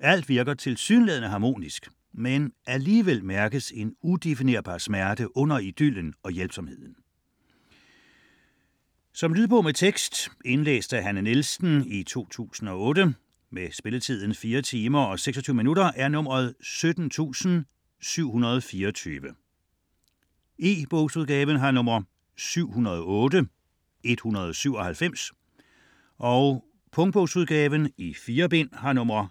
Alt virker tilsyneladende harmonisk, men alligevel mærkes en udefinerbar smerte under idyllen og hjælpsomheden. Lydbog med tekst 17724 Indlæst af Hanne Nielsen, 2008. Spilletid: 4 timer, 26 minutter. E-bog 708197 2008. Punktbog 108150 2008. 4 bind.